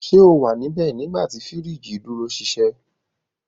Ṣe o wa nibẹ nigbati firiji duro ṣiṣẹ?